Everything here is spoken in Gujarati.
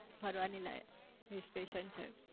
ફરવાને લાયક હિલ સ્ટેશન છે